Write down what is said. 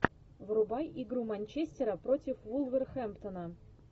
врубай игру манчестера против вулверхэмптона